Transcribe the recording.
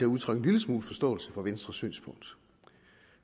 udtrykke en lille smule forståelse for venstres synspunkt